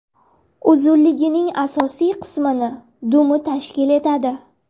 Uzunligining asosiy qismini dumi tashkil etadi.